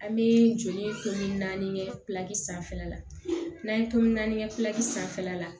An bɛ joli tomi naani kɛ sanfɛla la n'an ye tomin kɛ sanfɛla la